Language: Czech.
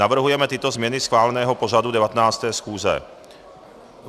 Navrhujeme tyto změny schváleného pořadu 19. schůze: